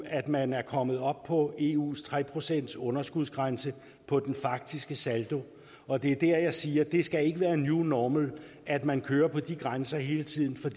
at man er kommet op på eus tre procentsunderskudsgrænse på den faktiske saldo og det er der jeg siger at det ikke skal være new normal at man kører på de grænser hele tiden